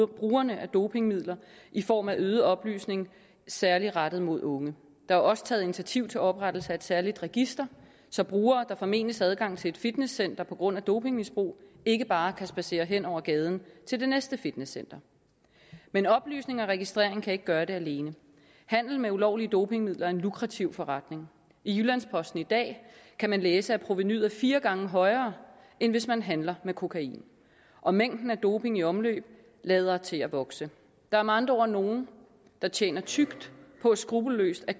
brugerne af dopingmidler i form af øget oplysning særlig rettet mod unge der er også taget initiativ til oprettelse af et særligt register så brugere der formenes adgang til et fitnesscenter på grund af dopingmisbrug ikke bare kan spadsere hen over gaden til det næste fitnesscenter men oplysning og registrering kan ikke gøre det alene handel med ulovlige dopingmidler er en lukrativ forretning i jyllands posten i dag kan man læse at provenuet er fire gange højere end hvis man handler med kokain og mængden af doping i omløb lader til at vokse der er med andre ord nogle der tjener tykt på skruppelløst at